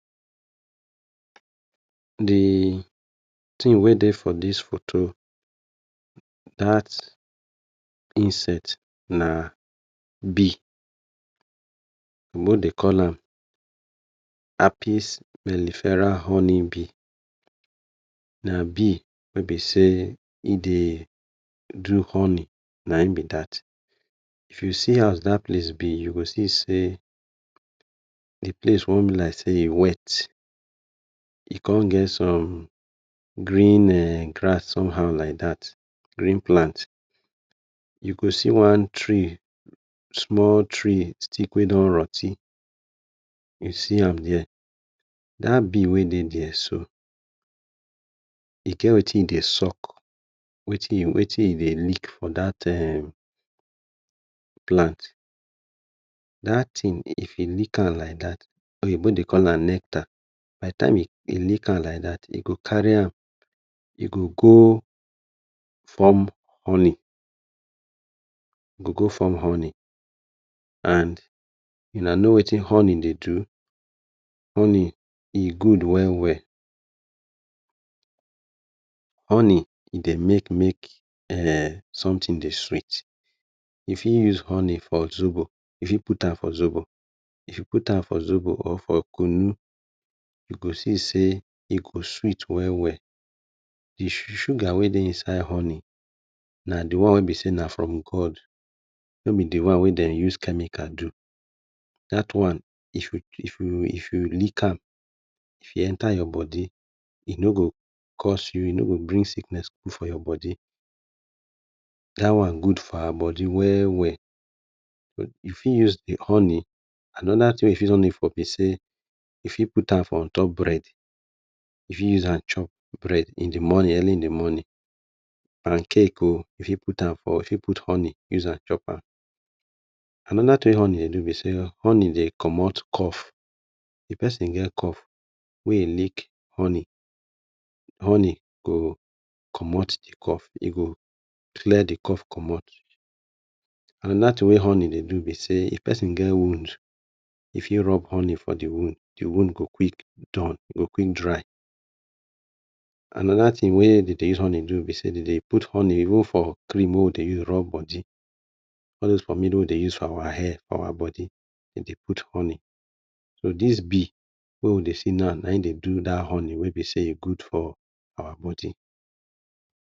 D tin wey Dey for dis photo, dat insect na bee, oyinbo Dey call am apeas beliferal honey bee, na bee eh b say e Dey do honey na him b dat, if u see as dat place Dey u go see say d place wan b like say e wey e con get some [um]green grass somehow like dat, u go see one tree small tree stick wey don rot ten, dat bee wey Dey there soo e get Wetin e Dey suck wey e Dey lick for dat [um]plant, dat tin if e like am like dat oyinbo Dey call am nectar, e leak am like dat e go carry am e go go form honey and una know Wetin honey Dey do, honey e good well well, honey e Dey make may something Dey sweet, u fit put am for zobo, if u put an for zobo or for kunu u go see say e sweet well well. D sugar wey Dey inside honey na from God no b d one wey b say dem use chemical do, dat one if u lick am if e enter your body e no go put sickness for your body dat one good for our body well well, u fit use d honey anoda thing wey u fit use honey for b say, u fit put am for on top bread, u fit use am chop bread in d morning, early in d morning and cake oh u fit use am chop cake, anoda tin wey honey Dey do b say, honey Dey commot cough, if persin get cough wey he lick cough, honey go commot d cough, e go clear d cough commot, anoda tin b say if persin get wound, e fit rub honey for d wound, d wound go quick dry, anida tin wey b say dem Dey use honey do b say dem Dey put honey even for cream wey we Dey take rub body, all those pomade wey we Dey use for our hair our body dem Dey put honey, so dis bee wey we Dey see now na hin Dey do dat honey wey good for awa body.